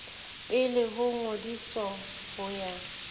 pele ho ngodiso ho ya